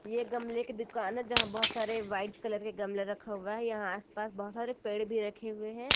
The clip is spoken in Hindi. एक गमले की दुकान जहां बहोत सारे व्हाइट कलर के गमला रखा हुआ है यहां आस पास बहुत सारे पेड़ भी रखे हुए हैं।